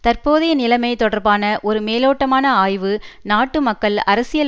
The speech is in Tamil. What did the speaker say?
தற்போதைய நிலைமை தொடர்பான ஒரு மேலோட்டமான ஆய்வு நாட்டு மக்கள் அரசியல்